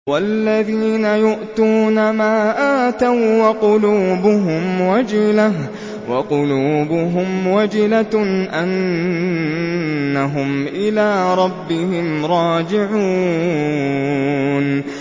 وَالَّذِينَ يُؤْتُونَ مَا آتَوا وَّقُلُوبُهُمْ وَجِلَةٌ أَنَّهُمْ إِلَىٰ رَبِّهِمْ رَاجِعُونَ